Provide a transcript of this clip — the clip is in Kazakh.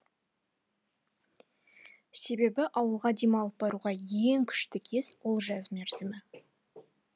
себебі ауылға демалып баруға ең күшті кез ол жаз мерзімі